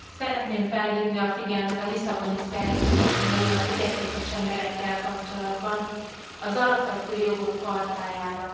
Szeretném felhívni a figyelmet a Lisszaboni Szerződésen belül a fogyatékos emberekkel kapcsolatban az Alapvető Jogok Chartájára.